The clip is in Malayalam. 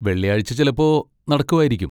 വെള്ളിയാഴ്ച ചിലപ്പോ നടക്കുവായിരിക്കും.